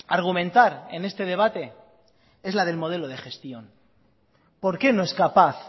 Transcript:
argumentar en este debate es la del modelo de gestión por qué no es capaz